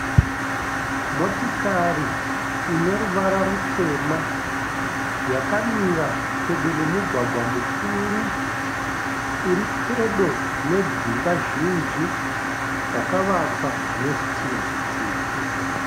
Motikari ine ruvara rutema yakamira pedo nemugwagwa mukuru uri pedo nedzimba zhinji dzakavakwa nezvitinha zvitsvuku.